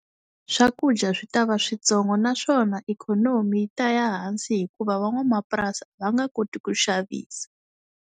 Swakudya swi ta va switsongo naswona ikhonomi yi ta ya hansi hikuva van'wamapurasi a va nga koti ku xavisa.